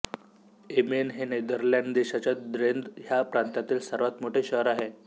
amen हे Netherlands देशाच्या Drenthe ह्या प्रांतामधील सर्वात मोठे शहर आहे